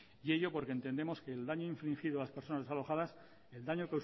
y ello porque entendemos que el daño infringido a las personas desalojadas el daño